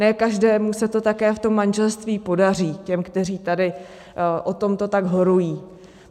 Ne každému se to také v tom manželství podaří, těm, kteří tady o tomto tak horují.